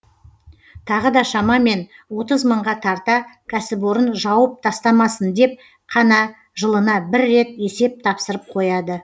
тағы да шамамен отыз мыңға тарта кәсіпорын жауып тастамасын деп қана жылына бір рет есеп тапсырып қояды